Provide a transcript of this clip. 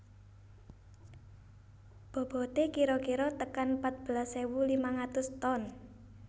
Bobote kira kira tekan patbelas ewu limang atus ton